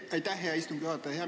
Aitäh, hea istungi juhataja!